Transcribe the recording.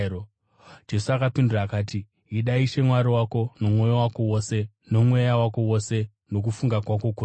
Jesu akapindura akati, “ ‘Ida Ishe Mwari wako nomwoyo wako wose, nomweya wako wose nokufunga kwako kwose.’